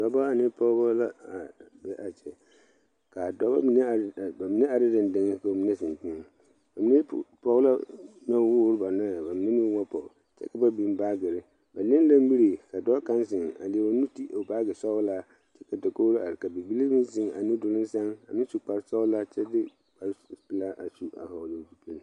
Dɔɔba ane pɔgeba la be a kyɛ kaa dɔɔba mine are bamine are deŋdeŋ ka bamine zeŋ teŋa bamine poɔ ka noɔ woɔre ba noe bamine meŋ ba poɔ kyɛ ka ba biŋ baagere ba le la mire ka dɔɔ kaŋ zeŋ a leɛ o nu ti o baagi sɔglaa ka dakogre are ka bibile meŋ zeŋ a nudoluŋ san a meŋ su kpare sɔglaa kyɛ de kpare pelaa a su vɔgle zupele.